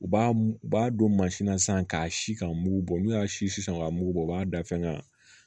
U b'a u b'a don mansin na sisan k'a si k'a mugu bɔ n'u y'a si sisan k'a mugu bɔ u b'a da fɛngɛ na